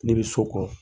Ne bɛ so kɔn